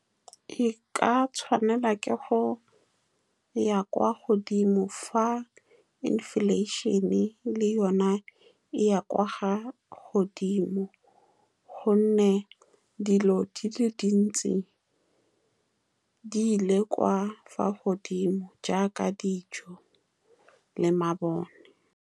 E ka tshwanelwa ke go ya kwa godimo fa inflation-e le yone e ya kwa godimo, ka gonne dilo di le dintsi di ile kwa godimo, jaaka dijo le mabone.